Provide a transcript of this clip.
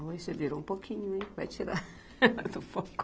Você virou um pouquinho, ein, vai tirar do foco.